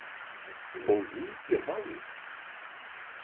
Fól hún þér málið?